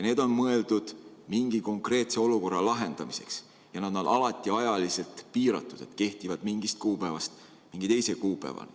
Need on mõeldud mingi konkreetse olukorra lahendamiseks ja nad on alati ajaliselt piiratud, kehtivad mingist kuupäevast mingi teise kuupäevani.